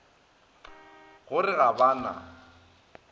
go re ga ba na